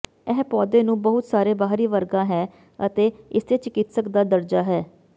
ਇਹ ਪੌਦੇ ਨੂੰ ਬਹੁਤ ਸਾਰੇ ਬਾਹਰੀ ਵਰਗਾ ਹੈ ਅਤੇ ਇਸੇ ਚਿਕਿਤਸਕ ਦਾ ਦਰਜਾ ਹੈ